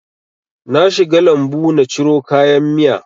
Na shiga lambu na ciro kayan miya